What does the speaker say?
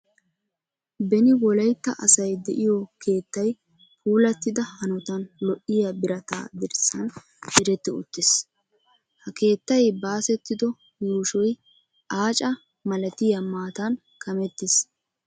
Beni Wolaytta asay de'iyo keettay puulattida hanotan lo"iya birata dirssan diretti uttiis. Ha keettay baasettido yuushoy aaca malatiya maatan kamettiis.